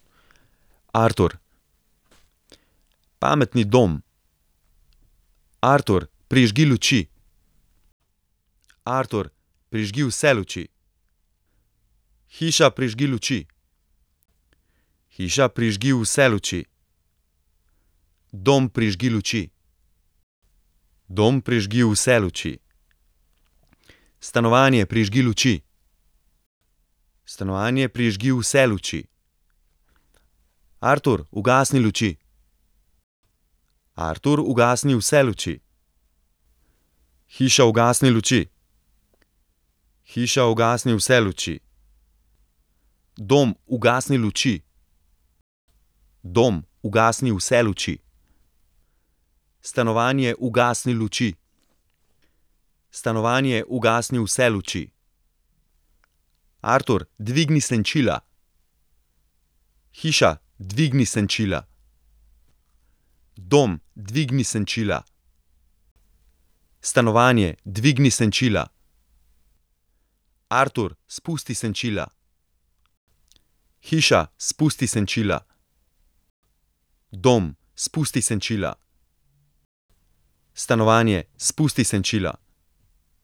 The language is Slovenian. Artur. Pametni dom. Artur, prižgi luči. Artur, prižgi vse luči. Hiša, prižgi luči. Hiša, prižgi vse luči. Dom, prižgi luči. Dom, prižgi vse luči. Stanovanje, prižgi luči. Stanovanje, prižgi vse luči. Artur, ugasni luči. Artur, ugasni vse luči. Hiša, ugasni luči. Hiša, ugasni vse luči. Dom, ugasni luči. Dom, ugasni vse luči. Stanovanje, ugasni luči. Stanovanje, ugasni vse luči. Artur, dvigni senčila. Hiša, dvigni senčila. Dom, dvigni senčila. Stanovanje, dvigni senčila. Artur, spusti senčila. Hiša, spusti senčila. Dom, spusti senčila. Stanovanje, spusti senčila.